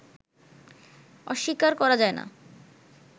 অস্বীকার করা যায় না